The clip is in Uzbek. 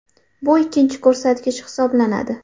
Bu ikkinchi ko‘rsatkich hisoblanadi.